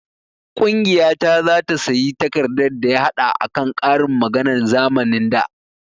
Ƙungiya ta zata sayi takardar daya haɗa akan ƙarin maganan zamanin da